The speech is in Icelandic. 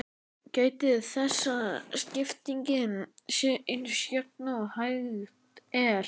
Gætið þess að skiptingin sé eins jöfn og hægt er.